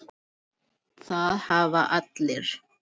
Það hafa allir